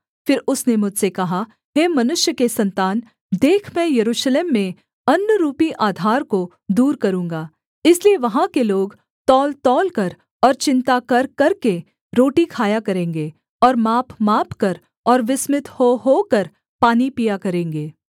फिर उसने मुझसे कहा हे मनुष्य के सन्तान देख मैं यरूशलेम में अन्‍नरूपी आधार को दूर करूँगा इसलिए वहाँ के लोग तौलतौलकर और चिन्ता कर करके रोटी खाया करेंगे और मापमापकर और विस्मित हो होकर पानी पिया करेंगे